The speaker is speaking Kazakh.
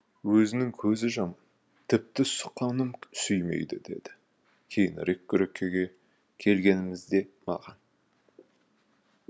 өзінің көзі жаман тіпті суқаным сүймейді деді кейінірек күрекеге келгенімізде маған